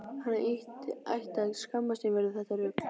Hann ætti að skammast sín fyrir þetta rugl!